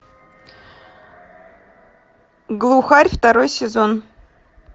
глухарь второй сезон